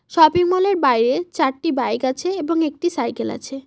শপিংমলের বাইরে চারটি বাইক আছে এবং একটি সাইকেল আছে।